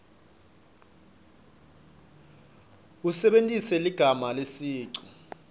usebentise ligama lesicu